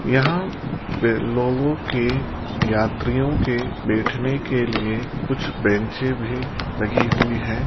यहां पे लोगो के यात्रियों के बैठने के लिए कुछ बेंचे भी लगी हुई है।